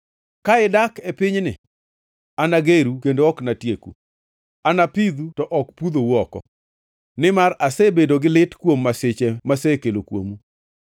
‘Ka idak e pinyni, anageru kendo ok anatieku; anapidhu to ok pudhou oko, nimar asebedo gi lit kuom masiche masekelo kuomu.